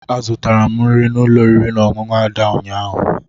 Azụtara m nri n'ụlọ oriri na ọṅụṅụ Ada ụnyaahụ.